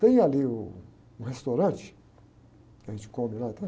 Tem ali um, um restaurante que a gente come lá atrás